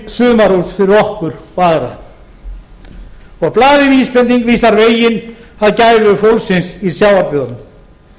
sumarhús fyrir okkur og aðra blaðið vísbending vísar veginn að gæfu fólksins í sjávarbyggðunum